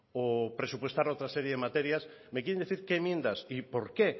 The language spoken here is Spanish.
o presupuestar otra serie de materias me quieren decir qué enmiendas y por qué